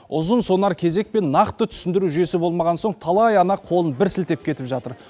ұзынсонар кезек пен нақты түсіндіру жүйесі болмаған соң талай ана қолын бір сілтеп кетіп жатыр